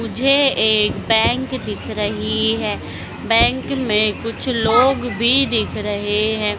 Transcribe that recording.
मुझे एक बैंक दिख रही है बैंक में कुछ लोग भी दिख रहे हैं।